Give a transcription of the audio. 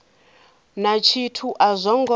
na tshithu a zwo ngo